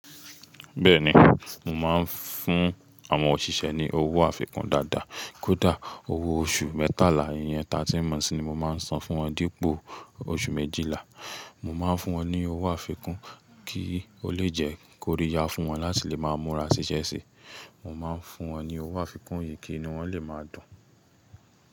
Bẹ́ẹ̀ni, mò máa ń fún àwọn òṣìṣẹ́ ní owó àfikún dáadáa. Kódà owó oṣù mẹ́tàlá, ìyẹn tatíń mọ̀ntii ni mò máa ń san fún wọn dípò oṣù méjìlá. Mò máa ń fún wọn ní owó àfikún kí ó lè jẹ́ kóríya fún wọn láti lè máa múra ṣiṣẹ́ sí. Mò máa ń fún wọn ní owó àfikún yìí kí inú wọ́n lè máa dùn.